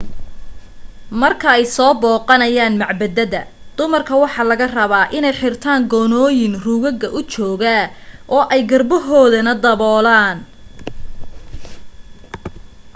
markay soo booqanayaan macbadada dumarka waxa laga rabaa inay xirtaan goonooyin ruugaga u jooga oo ay garbahoodana daboolaan